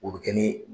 O bɛ kɛ ni